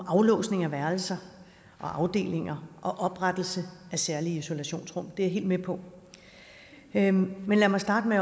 om aflåsning af værelser og afdelinger og oprettelse af særlige isolationsrum det er jeg helt med på men men lad mig starte med